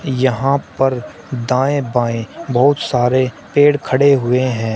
यहां पर दाएं बाएं बहुत सारे पेड़ खड़े हुए हैं।